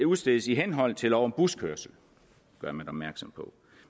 udstedes i henhold til lov om buskørsel det gør man opmærksom på